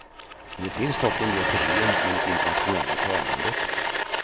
Men det finns dock en del problem med det internationella tävlandet.